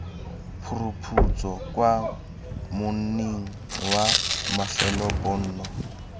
phuruphutso kwa monning wa mafelobonno